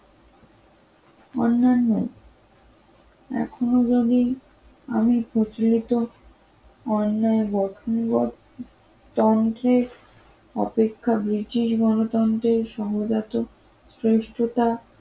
অন্যান্য এখনো যদি আমি প্রচলিত অন্যায় তন্ত্রের অপেক্ষা ব্রিটিশ গণতন্ত্রের সহযাতো শ্রেষ্ঠতা